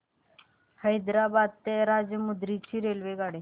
हैदराबाद ते राजमुंद्री ची रेल्वेगाडी